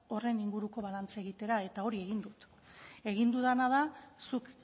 horren inguruko balantzea egitea eta hori egin dut egin dudana da zuk